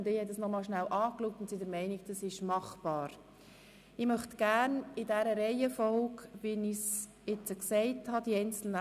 Schliesslich gibt es den Rückweisungsantrag Güntensperger.